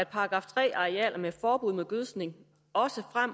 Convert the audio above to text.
§ tre arealerne at sprøjtes